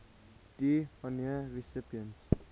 d honneur recipients